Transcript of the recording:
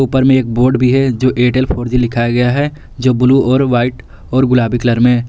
पर मैं एक बोर्ड भी है जो एयरटेल फोर जी लिखा गया है जो ब्लू और वाइट और गुलाबी कलर में।